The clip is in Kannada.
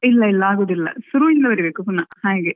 ಇಲ್ಲ ಇಲ್ಲ ಆಗುದಿಲ್ಲ ಸುರುವಿಂದ ಬರೀಬೇಕು ಪುನಾ ಹಾಗೆ.